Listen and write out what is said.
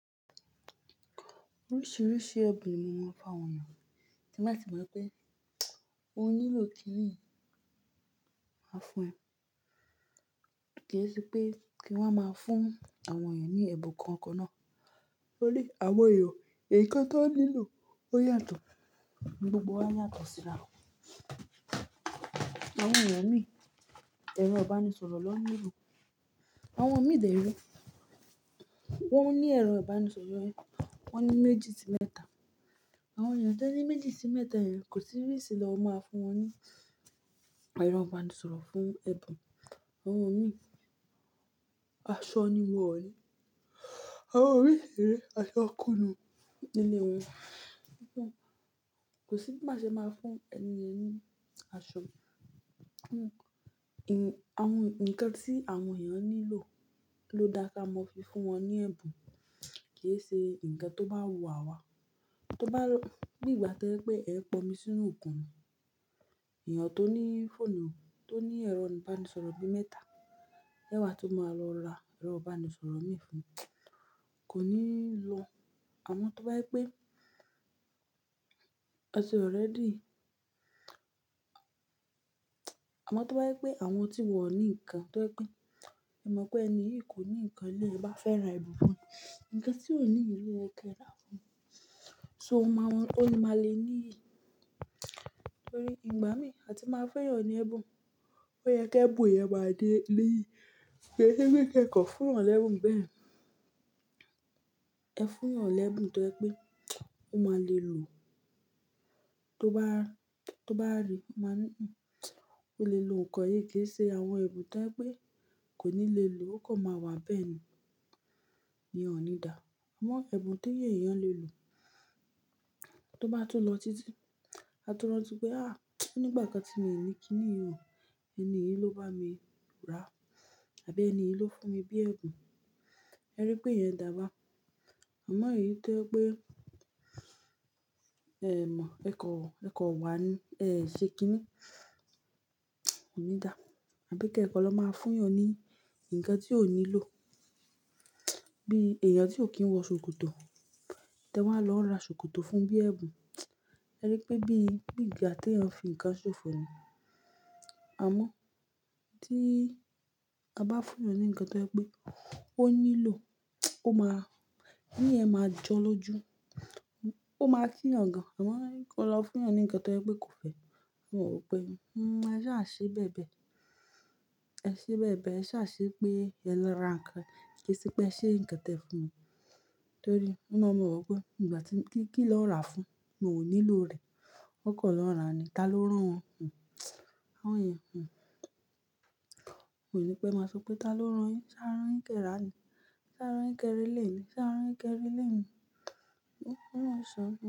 Oríṣiríṣi ẹ̀bùn ni hm, tí n bá ti mọ̀ pé ó nílò kíní yìí, máa fún ẹ. Kìí ṣe pé kí n wá máa fún àwọn ènìyàn ní ẹ̀bùn kankan náà. Torí àwọn èèyàn ǹkan tí wọn nílò, ó yàtọ̀, gbogbo wa yàtọ̀ síra. Àwọn ènìyàn mìí, ẹ̀rọ ìbánisọ̀rọ̀ ni wọn nílò, àwọn mìí dé rẹ̀, wọ́n ní ẹ̀rọ ìbánisọ̀rọ̀ yẹn, wọ́n ní méjì sí mẹ́ta. Àwọn ènìyàn tí wọn ní méjì sí mẹ́ta yẹn, kò sí reason bí ẹ ṣe máa fún wọn ní ẹ̀rọ ìbánisọ̀rọ̀ fún ẹ̀bùn. Àwọn mìí, aṣọ ni wọ́n ń ní. Àwọn mìí, aṣọ kún inú ilé wọn. Kò sí bí máa ṣe máa fún ẹniyẹn ní aṣọ. Àwọn-- nǹkan tí àwọn ènìyàn nílò ló dáa ká mọ fi fún wọn ní ẹ̀bùn. Kì í ṣe ǹkan tó bá wù àwa. Tó bá ló-- bí ìgbà pé ẹ ń pọ̀n omi sínú òkun ni. Ènìyàn tó ní fóònù, tó ní ẹ̀rọ ìbánisọ̀rọ̀ bíi mẹ́ta, ẹ wàá tún máa lọ ra ẹ̀rọ ìbánisọ̀rọ̀ mìí fún un, kò níí lọ. Àmọ́ tó bá pé ẹ ti already. Àmọ́ tó bá jẹ́ pé àwọn tí wọ̀n ò ní nǹkan tó jẹ́ pé ẹ mọ̀ pé ẹni yìí kò ní nǹkan, ó bá fẹ́ ra ẹ̀bùn fún un. Ǹkan tí ò ní yẹn lò yẹ kó ra fún. So máa wọ́n, ó máa le ní i. Torí ìgbà mí àti máa fún èèyàn ní ẹ̀bùn, ó yẹ kí ẹ̀bùn yẹn máa ní meaning. Kò ń ṣe pé kí ẹ kàn fún èèyàn l'ẹ́bùn bẹ́yẹn. Ẹ fún èèyàn l'ẹ́bùn tó jẹ́ pé ó máa le lò. Tó bá, tó bá rí, ó máa ní hmmm, mo lè lò ǹkan yìí. Kì í ṣe àwọn ẹ̀bùn tó jẹ́ pé kò ní lè lò, o kàn máa wà níbẹ̀ ni. Ènìyàn ò ní dà ẹ̀bùn tí èèyàn ò ní lè lò, tó bá tún lọ títí, a tún rántí pé, "à nígbà kan tí mi ò ní kíní yìí, ẹni yìí ló bá mi ra àbí ẹni yìí ló fún mi bí ẹ̀bùn." Ẹ rí pé ìyẹn dáa bahun. Àmọ́ èyí tó jẹ́ pé ẹ mọ̀, ẹ kàn, ẹ kàn rá ní, ẹ ṣe kíní, kò ní dáa. Àbí kí ẹ̀ kàn lọ máa fún èèyàn ní ǹkan tí ò nílò. Bí èèyàn tí ò kí ń wọ ṣòkòtò tẹ wá lọ ra ṣòkòtò fún bí ẹ̀bùn. Ẹ rí pé bí, bí ìgbà tí ènìyàn fi ǹkan ṣòfò ni àmọ́ tí a bá fún èèyàn ní ǹkan tó jẹ́ pé, ó nílò, ó máa, kíni yẹn máa jọ́ l'ójú, ó máa kí èèyàn gan an. Àmọ́ kí ó lọ fún èèyàn ní ǹkan tó jẹ́ pé kò fẹ́, ó mọ̀ pé, "hmm, a sáà ṣe bẹ́ẹ̀ bẹ́ẹ̀, a ṣe bẹ́ẹ̀ bẹ́ẹ̀, a sás ṣe pé a lọ ra ǹkan. Kì í ṣe pé a ṣe ǹkan tẹ fún ni." Torí ó máa mà wò pé nígbà tí kíni wọn rà á fún, mi ò nílò rẹ̀. Ó kàn lọ́ ràá ni. Tá ló rán wọn, hmm àwọn ènìyàn, hhm kò ní pé màá sọ pé tá ló rán yín. Ṣé á rán yín kẹ rà ni? Ṣé á rán yín kí ẹ ra eléyìí ni? Ṣé á rán yín kí ẹ ra eléyìí ni? Ó máa san.